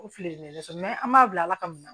O fililen de fɛ an b'a bila ala ka mun na